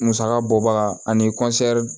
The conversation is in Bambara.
Musaka bɔbaga ani